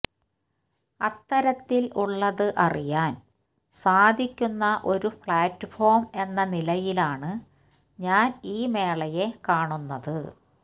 അത്തരത്തില് ഉള്ളത് അറിയാന് സാധിക്കുന്ന ഒരു പ്ലാറ്റ്ഫോം എന്ന നിലയിലാണ് ഞാന് ഈ മേളയെ കാണുന്നത്